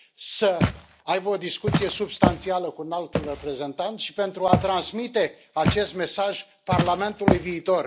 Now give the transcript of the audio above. să aibă o discuție substanțială cu Înaltul Reprezentant și pentru a transmite acest mesaj Parlamentului viitor.